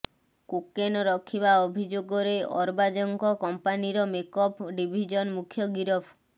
cocaine ରଖିବା ଅଭିଯୋଗରେ ଅରବାଜଙ୍କ କମ୍ପାନୀର ମେକଅପ ଡିଭିଜନ ମୂଖ୍ୟ ଗିରଫ